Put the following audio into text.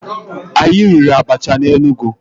Anyị riri abacha na Enugu.